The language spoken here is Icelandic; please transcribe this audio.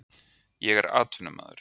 Ég er atvinnumaður.